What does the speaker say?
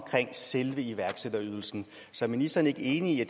selve iværksætterydelsen så er ministeren ikke enig i